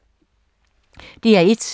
DR1